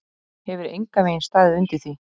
Hefur engan veginn staðið undir því.